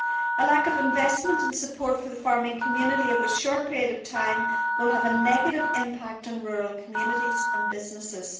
A lack of investment and support for the farming community over a short period of time will have a negative impact on rural communities and businesses.